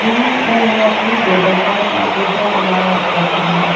इन्होंने अपने टेबल पर कंप्यूटर चलाओ रखा है।